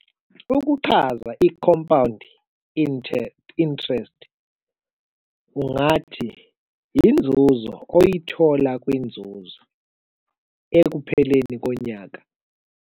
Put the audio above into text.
Ukuchaza i-compound interest interest, ungathi inzuzo oyithola kwinzuzo, ekupheleni konyaka.